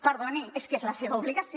perdoni és que és la seva obligació